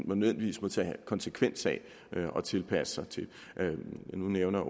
man nødvendigvis må tage konsekvensen af og tilpasse sig til nu nævner